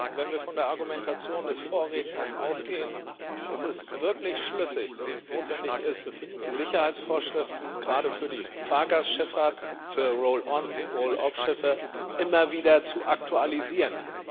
Wenn wir von der Argumentation des Vorredners ausgehen, ist es wirklich schlüssig, dass es notwendig ist, die Sicherheitsvorschriften gerade für die Fahrgastschifffahrt, für Roll on Roll off Schiffe immer wieder zu aktualisieren.